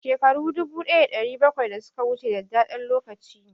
Shekaru dubu ɗaya da ɗari bakwai da suka wuce dadadɗen lokaci ne